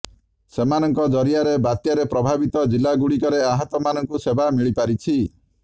ସେମାନଙ୍କ ଜରିଆରେ ବାତ୍ୟାରେ ପ୍ରଭାବିତ ଜିଲ୍ଲାଗୁଡ଼ିକରେ ଆହତମାନଙ୍କୁ ସେବା ମିଳିପାରିଛି